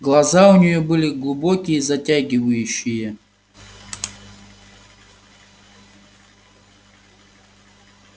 глаза у неё были глубокие затягивающие